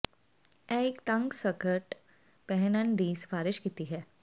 ਇਹ ਇੱਕ ਤੰਗ ਸਕਰਟ ਪਹਿਨਣ ਦੀ ਸਿਫਾਰਸ਼ ਕੀਤੀ ਹੈ